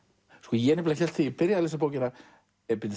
ég hélt þegar ég byrjaði að lesa bókina að